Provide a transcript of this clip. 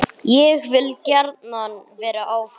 Ég vil gjarnan vera áfram.